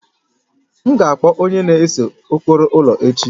M ga akpọ onye na-ese ụkpụrụ ụlọ echi